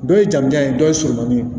Dɔ ye jamujan ye dɔ ye surunkun ye